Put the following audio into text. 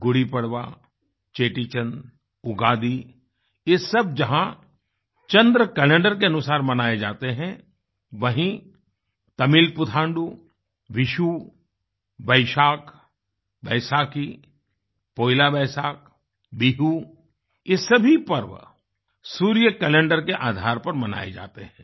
गुड़ी पड़वा चेटीचंड उगादि ये सब जहाँ चन्द्र कैलेंडरके अनुसार मनाये जाते हैं वहीँ तमिल पुथांडु विषु वैशाख बैसाखी पोइला बैसाख बिहु ये सभी पर्व सूर्य कैलेंडरके आधार पर मनाये जाते हैं